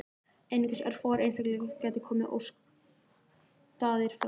Einungis örfáir einstaklingar geti komist óskaddaðir frá því.